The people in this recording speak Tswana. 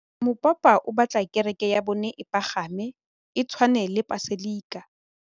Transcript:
Mopapa o batla kereke ya bone e pagame, e tshwane le paselika.